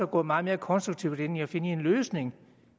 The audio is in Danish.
gået meget mere konstruktivt ind i at finde en løsning